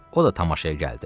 O da tamaşaya gəldi.